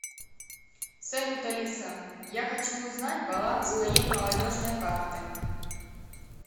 салют алиса я хочу узнать баланс моей молодежной карты